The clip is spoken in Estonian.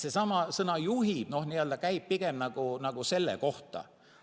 Seesama sõna "juhib" käib pigem selle kohta.